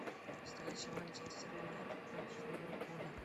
встреча манчестер юнайтед против ливерпуля